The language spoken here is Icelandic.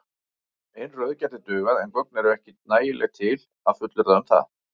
Ein röð gæti dugað en gögn eru ekki nægileg til að fullyrða um það.